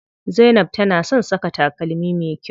Zainab tana son saka takalmi me kyau.